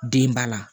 Den ba la